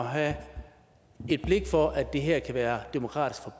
have et blik for at det her kan være demokratisk for